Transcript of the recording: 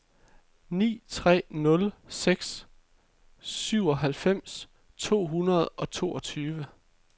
ni tre nul seks syvoghalvfems to hundrede og toogtyve